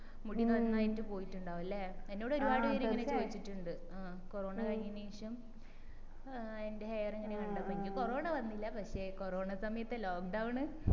മുടി നന്നായിട്ട് പോയിട്ടുണ്ടാവും അല്ലെ എന്നോട് ഒരുപാട് പേര് ഇങ്ങനെ ചോയിച്ചിട്ടിണ്ട് ആ കൊറോണ കഴിഞ്ഞെന് ശേഷം ഏർ എന്റെ hair ഇങ്ങനെ കണ്ടപ്പോ എനിക്ക് കൊറോണ വന്നില്ല പക്ഷെ കൊറോണ സമയത്തെ lockdown